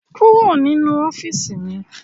Kúrò nínú ọ́fíìsì mi!